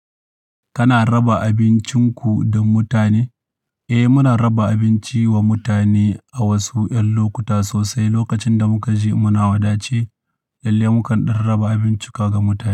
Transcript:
Kana raba abincinku don mutane? Eh, muna raba abinci wa mutane a wasu ƴan lokuta sosai. Lokacin da muka ji muna wadace lalle mukan ɗan raba abincin ka ga mutane.